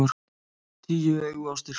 Tíu augu á stilkum!